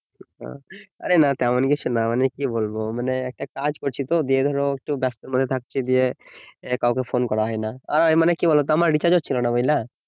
আরে না তেমন কিছু না মানে কি বলবো, মানে একটা কাজ করছি তো দিয়ে ধরো একটু ব্যস্তর মধ্যে থাকছি দিয়ে কাউকে ফোন করা হয় না আর মানে কি বলো তো আমার রিচার্জ ও ছিল না বুঝলা